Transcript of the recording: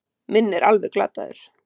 Minn er alveg glataður.